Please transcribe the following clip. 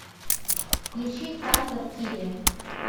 включи хантер киллер